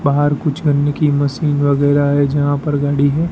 बाहर कुछ करने की मशीन वगैरा है जहां पर गाड़ी है।